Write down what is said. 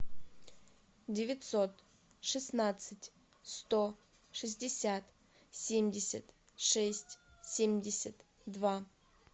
девятьсот шестнадцать сто шестьдесят семьдесят шесть семьдесят два